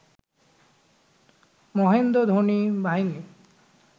মহেন্দ্র ধোনি বাহিনী